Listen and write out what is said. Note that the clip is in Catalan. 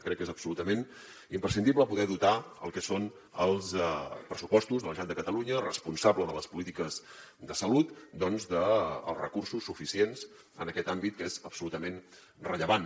crec que és absolutament imprescindible poder dotar el que són els pressupostos de la generalitat de catalunya responsable de les polítiques de salut doncs dels recursos suficients en aquest àmbit que és absolutament rellevant